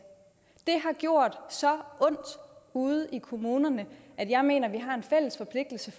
det har gjort så ondt ude i kommunerne at jeg mener vi har en fælles forpligtelse